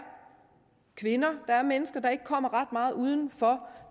kvinder der er mennesker der ikke kommer ret meget uden for